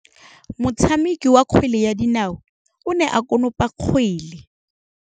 Motshameki wa kgwele ya dinaô o ne a konopa kgwele.